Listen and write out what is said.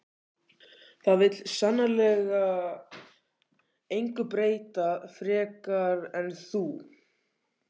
Það vill sannarlega engu breyta frekar en þú.